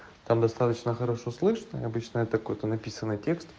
там достаточно хорошо слышно и обычно это какой-то написанный текст